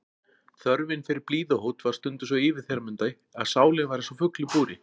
Þörfin fyrir blíðuhót var stundum svo yfirþyrmandi að sálin var einsog fugl í búri.